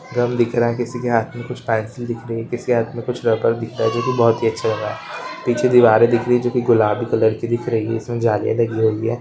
गम दिख रहा है किसी के हाथ में कुछ पेन्सिल दिख रही है किसी के हाथ में कुछ रबड़ दिखाई दे रही जो की बहोत अच्छा लग रहा है पीछे दीवारे दिख रही है जो की गुलाबी कलर की दिख रही है इसमें जालियाँ लगी हुई हैं।